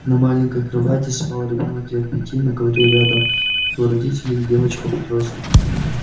на маленькой кровати спал ребёнок лет пяти на ковре рядом его родители и девочка-подросток